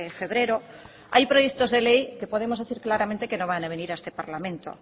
febrero hay proyectos de ley que podemos decir claramente que no van a venir a este parlamento